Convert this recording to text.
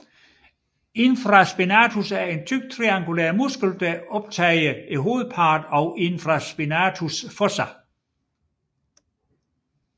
Infraspinatus er en tyk triangulær muskel der optager hovedpraten af infraspinatus fossa